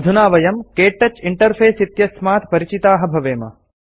अधुना वयं क्तौच इंटरफेस इत्यस्मात् परिचिताः भवेम